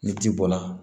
Ni ji bɔra